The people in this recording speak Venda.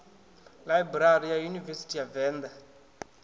ḽaibrari ya yunivesithi ya venḓa